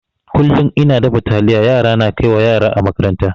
Kullun ina dafa taliyan yara na kaiwa yara a makaranta.